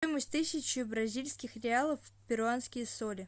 стоимость тысячи бразильских реалов в перуанские соли